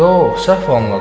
Yox, səhv anladın.